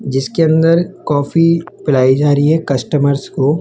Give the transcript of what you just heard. जिसके अंदर कॉफी पिलाई जा रही है कस्टमरस को--